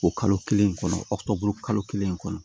O kalo kelen kɔnɔ kalo kelen kɔnɔ